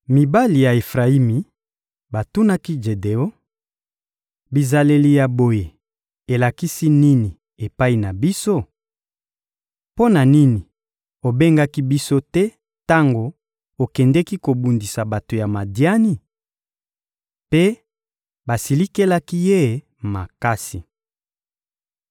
Mibali ya Efrayimi batunaki Jedeon: — Bizaleli ya boye elakisi nini epai na biso? Mpo na nini obengaki biso te tango okendeki kobundisa bato ya Madiani? Mpe basilikelaki ye makasi.